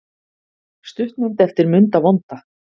Stuttmynd eftir Munda vonda